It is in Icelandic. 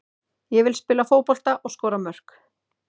Ég vil spila fótbolta og skora mörk.